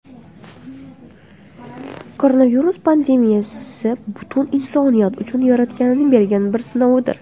Koronavirus pandemiyasi butun insoniyat uchun Yaratganning bergan bir sinovidir.